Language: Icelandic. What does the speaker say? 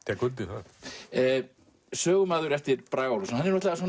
það sögumaður eftir Braga Ólafsson